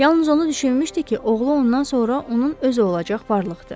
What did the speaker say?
Yalnız onu düşünmüşdü ki, oğlu ondan sonra onun öz olacaq varlıqdır.